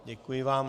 Děkuji vám.